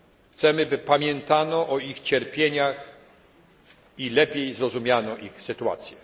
Chcemy, by pamiętano o ich cierpieniach i lepiej zrozumiano ich sytuację.